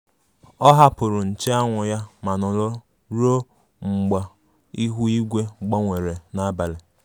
Ọ hapụrụ nche anwụ ya ma nọrọ ruo mgba ihu igwe gbanwere n' abalị.